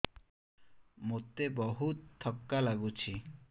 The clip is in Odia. ମୋତେ ବହୁତ୍ ଥକା ଲାଗୁଛି